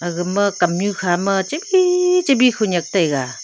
aga ma kamnu kha ma chabi chabi khenek taiga.